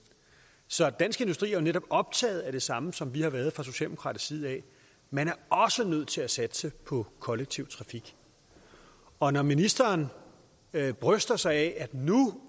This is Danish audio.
så dansk industri er jo netop optaget af det samme som vi har været fra socialdemokratisk side man er også nødt til at satse på kollektiv trafik og når ministeren bryster sig af at nu